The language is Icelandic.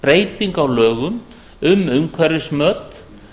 breytingu á lögum um umhverfismat